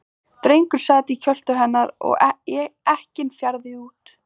Drengur sat í kjöltu hennar og ekkinn fjaraði út.